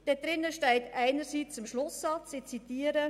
Im Schlusssatz steht Folgendes, ich zitiere: